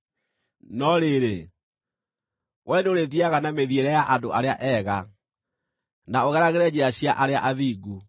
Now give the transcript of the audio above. No rĩrĩ, wee nĩũrĩthiiaga na mĩthiĩre ya andũ arĩa ega, na ũgeragĩre njĩra cia arĩa athingu.